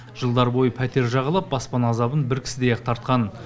жылдар бойы пәтер жағалап баспана азабын бір кісідей ақ тартқан